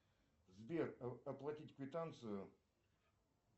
сбер оплатить квитанцию